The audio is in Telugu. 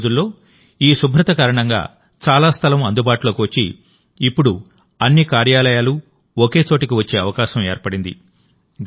ఈ రోజుల్లోఈ శుభ్రత కారణంగాచాలా స్థలం అందుబాటులోకి వచ్చి ఇప్పుడు అన్ని కార్యాలయాలు ఒకే చోటికి వచ్చే అవకాశం ఏర్పడింది